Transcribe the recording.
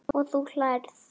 Og þú hlærð?